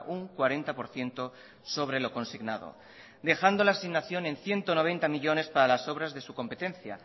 un cuarenta por ciento sobre lo consignado dejando la asignación en ciento noventa millónes para las obras de su competencia